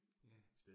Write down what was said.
Ja